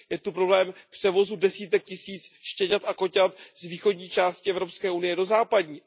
Je zde problém převozu desítek tisíc štěňat a koťat z východní části Evropské unie do západní.